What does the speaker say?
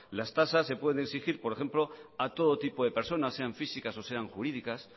las tasas se pueden exigir por ejemplo a todo tipo de personas sean físicas o sean jurídicas